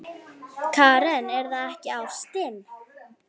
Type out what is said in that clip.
Karen: Er það ekki ástin?